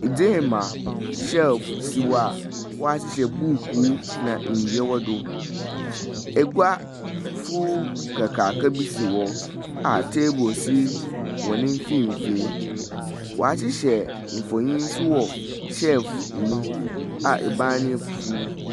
Edzeem a hyɛlf si hɔ a wahyehyɛ buuku na ndua wɔ do. Egua fufuuw kakraka bi si hɔ a teebol si wɔn mfimfini. W'ahyehyɛ mfonyin so wɔ hyɛlf no mu a ebaan no yɛ fufuuw.